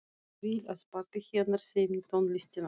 Vill að pabbi hennar semji tónlistina.